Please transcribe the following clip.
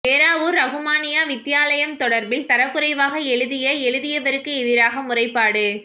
ஏறாவூர் றகுமானிய்யா வித்தியாலயம் தொடர்பில் தரக்குறைவாக எழுதிய எழுவருக்கு எதிராக முறைப்பாடு